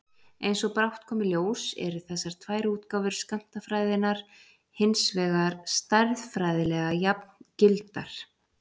Eins og brátt kom í ljós eru þessar tvær útgáfur skammtafræðinnar hins vegar stærðfræðilega jafngildar.